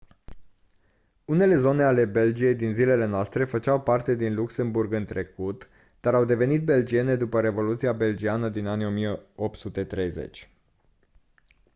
unele zone ale belgiei din zilele noastre făceau parte din luxemburg în trecut dar au devenit belgiene după revoluția belgiană din anii 1830